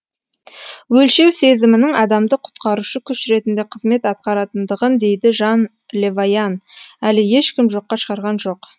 өлшеу сезімінің адамды құтқарушы күш ретінде қызмет атқаратындығын дейді жан левайан әлі ешкім жоққа шығарған жоқ